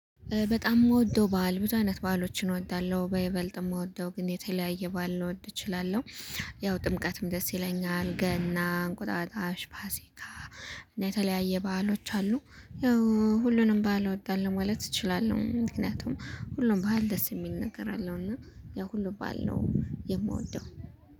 በጣም የምወደው በዓል ብዙ አይነት በዓሎችን እወዳለሁ በይበልጥ የምወደው ግን የተለያየ ባል ልንወድ እችላለሁ። ያው ጥምቀትም፣ ደስ ይለኛል! ገና፣ እንቁጣጣሽ፣ ፋሲካ እና የተለያየ ባህሎች አሉ ያው ሁሉንም ባል እወዳለሁ። ማለት እችላለሁ። ምክንያቱም ሁሉም ባል ደስ የሚል። ነገር አለው እና ያው ሁሉ ባል ነው የምወደው።